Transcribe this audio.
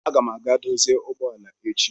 Aga m aga dozie ụgbọ ala echi